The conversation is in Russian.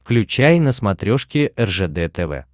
включай на смотрешке ржд тв